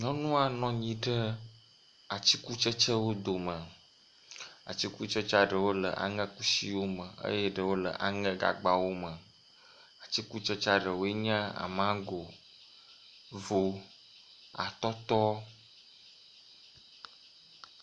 Nyɔnua nɔ anyi ɖe atikutsetsewo dome. Atikutsetsea ɖewo le aŋekusiwo me eye ɖewo le aŋegagbawo me. Atikutsetsea ɖewoe nye; mago, vo, atɔtɔ.